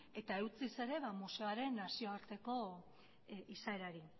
eta eutsiz ere museoaren nazioarteko izaerari